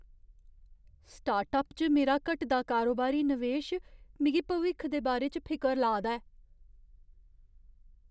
Startup च मेरा घटदा कारोबारी नवेश मिगी भविक्ख दे बारे च फिकर ला दा ऐ।